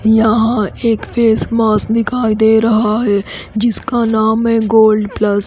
यहाँ एक face mask दिखाई दे रहा है जिसका नाम है गोल्ड प्लस --